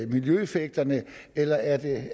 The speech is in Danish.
miljøeffekterne eller er det